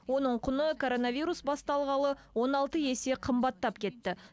оның құны коронавирус басталғалы он алты есе қымбаттап кетті